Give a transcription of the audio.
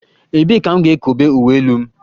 Ebee ka m ga-ekobe uwe elu m?